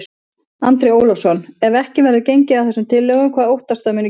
Andri Ólafsson: En ef ekki verður gengið að þessum tillögum, hvað óttastu að muni gerast?